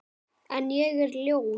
En ég er ljón.